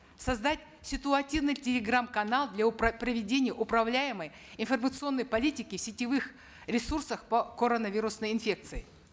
создать ситуативный телеграм канал для проведения управляемой информационной политики в сетевых ресурсах по коронавирусной инфекции